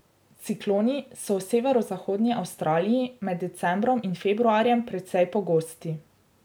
Cikloni so v severozahodni Avstraliji med decembrom in februarjem precej pogosti.